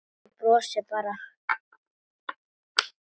Þú brosir bara!